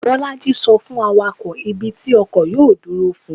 bolájí so fun awakọ, ibi tí ọkọ yọọ duro fún